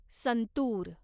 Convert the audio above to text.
santoor